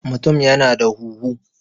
mutum yana da huhu